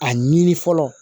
A ɲini fɔlɔ